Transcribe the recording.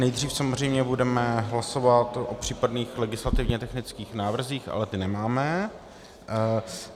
Nejdřív samozřejmě budeme hlasovat o případných legislativně technických návrzích, ale ty nemáme.